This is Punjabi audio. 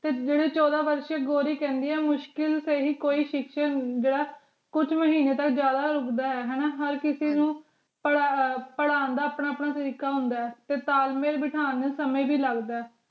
ਤੇ ਜੇਰੀ ਚੌਦਾਂ ਵਰਸ਼ ਗੌਰੀ ਕੇਹ੍ਨ੍ਦੀ ਆ ਮੁਸ਼ਕਿਲ ਚ ਈ ਕੋਈ ਕੁਜ ਮਹੀਨੇ ਤਕ ਜਿਆਦਾ ਰੁਕਦਾ ਆਯ ਹਰ ਕਿਸੀ ਨੂ ਪਰ੍ਹਾਂ ਦਾ ਆਪਣਾ ਆਪਣਾ ਤਰੀਕਾ ਹੁੰਦਾ ਆਯ ਤੇ ਤਾਲ ਮੇਲ ਬਿਠਾਨ ਸਮੇ ਵੀ ਲਗਦਾ ਆਯ